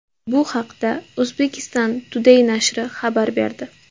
Bu haqda Uzbekistan Today nashri xabar berdi.